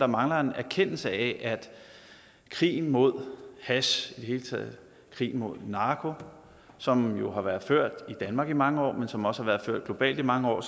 mangler en erkendelse af at krigen mod hash og det hele taget krigen mod narko som jo har været ført i danmark i mange år men som også har været ført globalt i mange år